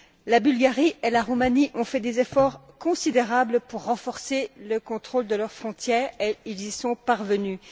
La Bulgarie et la Roumanie ont fait des efforts considérables pour renforcer le contrôle de leurs frontières et elles y sont parvenues.